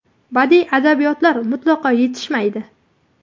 Badiiy adabiyotlar mutlaqo yetishmaydi.